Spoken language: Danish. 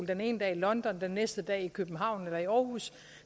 den ene dag i london den næste dag i københavn eller i aarhus